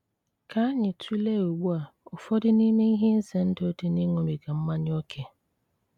Ká ányị́ túlée ùgbù á ụfọdụ n'ime íhé ízé ndú dí́ íṅúbígá mmányá óké.